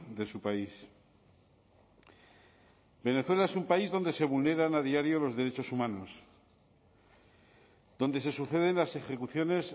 de su país venezuela es un país donde se vulneran a diario los derechos humanos donde se suceden las ejecuciones